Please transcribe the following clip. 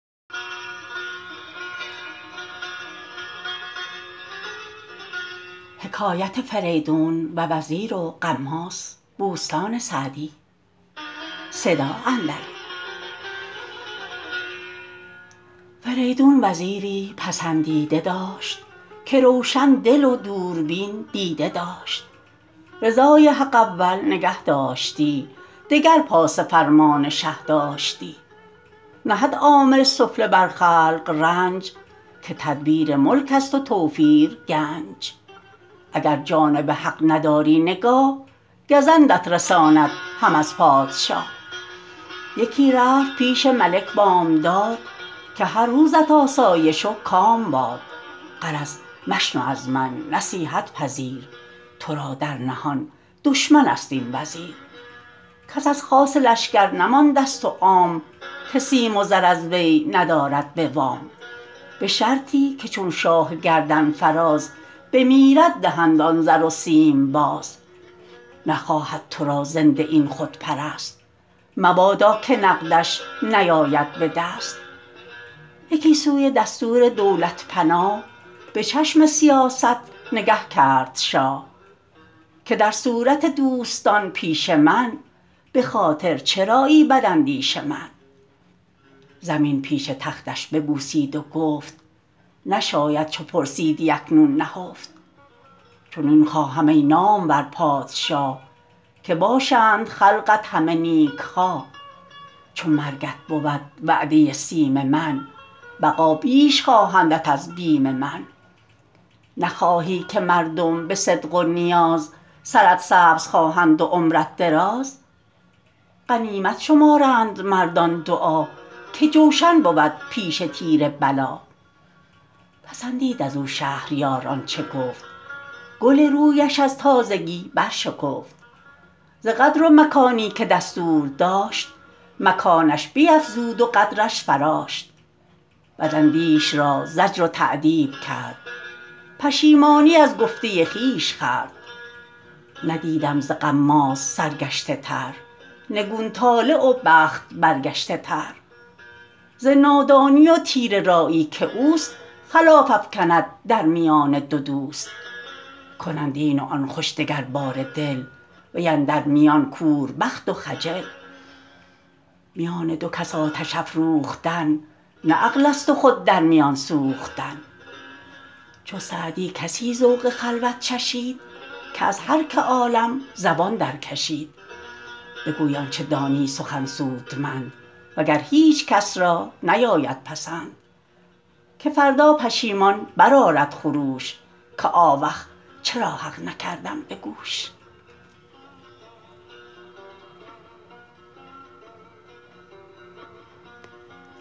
فریدون وزیری پسندیده داشت که روشن دل و دوربین دیده داشت رضای حق اول نگه داشتی دگر پاس فرمان شه داشتی نهد عامل سفله بر خلق رنج که تدبیر ملک است و توفیر گنج اگر جانب حق نداری نگاه گزندت رساند هم از پادشاه یکی رفت پیش ملک بامداد که هر روزت آسایش و کام باد غرض مشنو از من نصیحت پذیر تو را در نهان دشمن است این وزیر کس از خاص لشکر نمانده ست و عام که سیم و زر از وی ندارد به وام به شرطی که چون شاه گردن فراز بمیرد دهند آن زر و سیم باز نخواهد تو را زنده این خودپرست مبادا که نقدش نیاید به دست یکی سوی دستور دولت پناه به چشم سیاست نگه کرد شاه که در صورت دوستان پیش من به خاطر چرایی بد اندیش من زمین پیش تختش ببوسید و گفت نشاید چو پرسیدی اکنون نهفت چنین خواهم ای نامور پادشاه که باشند خلقت همه نیک خواه چو مرگت بود وعده سیم من بقا بیش خواهندت از بیم من نخواهی که مردم به صدق و نیاز سرت سبز خواهند و عمرت دراز غنیمت شمارند مردان دعا که جوشن بود پیش تیر بلا پسندید از او شهریار آنچه گفت گل رویش از تازگی برشکفت ز قدر و مکانی که دستور داشت مکانش بیفزود و قدرش فراشت بد اندیش را زجر و تأدیب کرد پشیمانی از گفته خویش خورد ندیدم ز غماز سرگشته تر نگون طالع و بخت برگشته تر ز نادانی و تیره رایی که اوست خلاف افکند در میان دو دوست کنند این و آن خوش دگر باره دل وی اندر میان کور بخت و خجل میان دو کس آتش افروختن نه عقل است و خود در میان سوختن چو سعدی کسی ذوق خلوت چشید که از هر که عالم زبان درکشید بگوی آنچه دانی سخن سودمند وگر هیچ کس را نیاید پسند که فردا پشیمان برآرد خروش که آوخ چرا حق نکردم به گوش